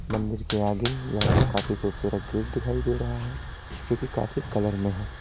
मंदिर के आगे या काफी खूबसूरत गेट दिखाई दे रहा है जोकि काफी कलर में है।